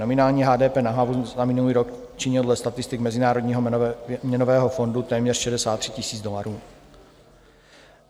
Nominální HDP na hlavu za minulý rok činil dle statistik Mezinárodního měnového fondu téměř 63 000 dolarů.